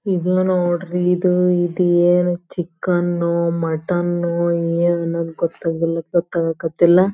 ಇದು ನೋಡ್ರಿ ಇದು ಇದೇನೋ ಚಿಕನ್ನ್ನೋ ಮಟನ್ನೋ ಏನು ಗೊತ್ತಾಗ ಗೊತ್ತಾಗಕ್ ಹತ್ತಿಲ್ಲಾ.